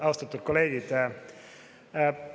Austatud kolleegid!